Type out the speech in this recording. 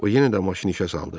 O yenə də maşını işə saldı.